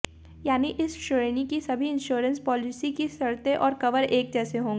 यानी इस श्रेणी की सभी इंश्योरेंस पॉलिसी की शर्तें और कवर एक जैसे होंगे